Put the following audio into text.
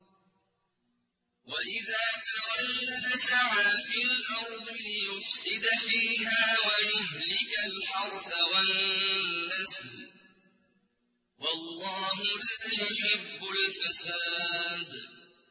وَإِذَا تَوَلَّىٰ سَعَىٰ فِي الْأَرْضِ لِيُفْسِدَ فِيهَا وَيُهْلِكَ الْحَرْثَ وَالنَّسْلَ ۗ وَاللَّهُ لَا يُحِبُّ الْفَسَادَ